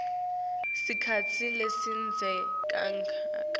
sikhatsi lesidze kangaka